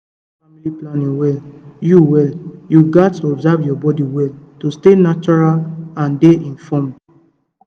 to use natural family planning well you well you gats observe your body well to stay natural and dey informed